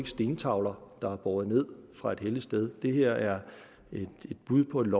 stentavler der er båret ned fra et helligt sted det her er et bud på et